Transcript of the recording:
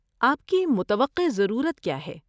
آپ کی متوقع ضرورت کیا ہے؟